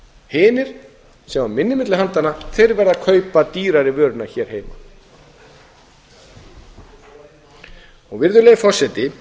hinir sem hafa minna á milli handanna þeir verða að kaupa dýrari vöruna hér heima virðulegi forseti